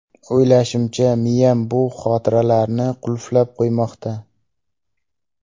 O‘ylashimcha, miyam bu xotiralarni qulflab qo‘ymoqda.